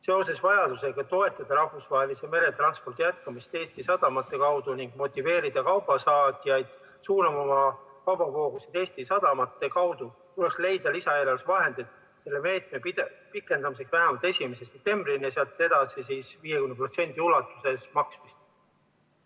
Seoses vajadusega toetada rahvusvahelise meretranspordi jätkamist Eesti sadamate kaudu ning motiveerida kaubasaatjaid suunama oma kaubavoogusid Eesti sadamate kaudu, tuleks leida lisaeelarves vahendid selle meetme pikendamiseks vähemalt 1. septembrini ja sealt edasi 50% ulatuses maksmist.